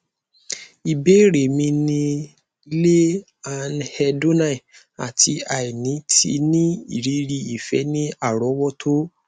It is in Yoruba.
ibeere mi ni le anhedonia ati aini ti ni iriri ifẹ ni arowoto